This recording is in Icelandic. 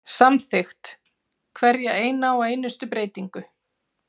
Samþykkt hverja eina og einustu breytingu.